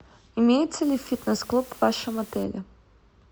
имеется ли в фитнес клуб в вашем отеле